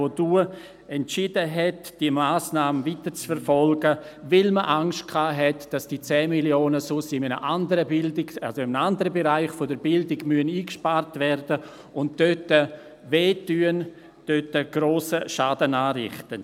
Sie entschied damals, diese Massnahme weiter zu verfolgen, weil man sich davor fürchtete, diese 10 Mio. Franken müssten in einem anderen Bereich der Bildung eingespart werden und würden dort grossen Schaden anrichten.